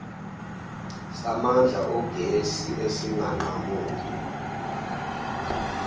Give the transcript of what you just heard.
samandla ogesi esinganqamuki